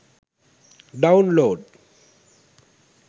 download